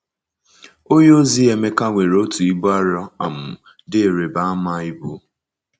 Onyeozi Emeka nwere otu ibu arọ um dị ịrịba ama ibu.